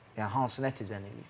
Yəni hansı nəticəni eləyib?